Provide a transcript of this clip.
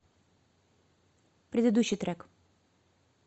предыдущий трек